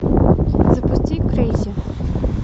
запусти крейзи